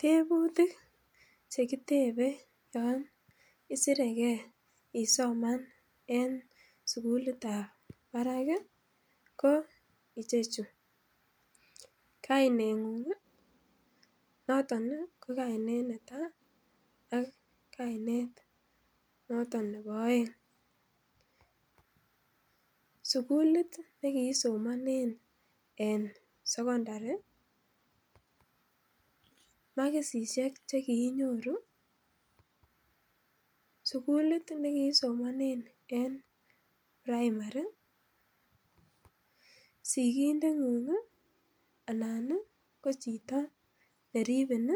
Tebutik che kitebe yon isireke isoman en sugulitab barak ko icheju:Kaineng'ung noton ko kainet netai ak kainet notoon nebo oeng, sugult ne kiisomonen en sokondari, makisishek che kiinyoru, sugulit nee kiisomanen en primary, sigindeng'ung anan ko chito ne ribin,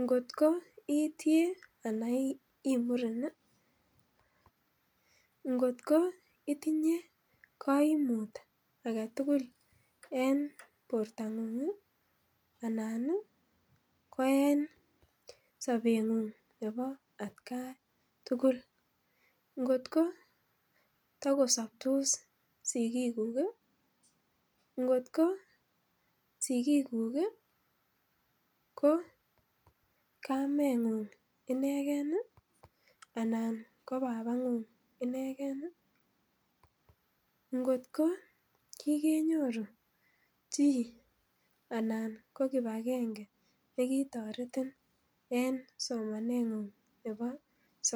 nkotko ii tie anan ii muren, ngotko itinye koimut age tugul en bortang'ung anan ko en sobeng'ung nebo atkan tugul, ngotko takosobtos sigikuk, ngotko sigikuk ko kameng'ung inegen anan ko babang'ung inegen, ngotko kigenyoru chi anan ko kipagenge nekitoretin en somaneng'ung nebo sokondari,